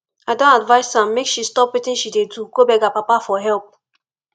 i don advice am make she stop wetin she dey do go beg her papa for help